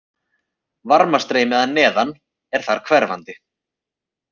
Varmastreymi að neðan er þar hverfandi.